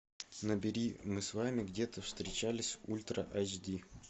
набери мы с вами где то встречались ультра айч ди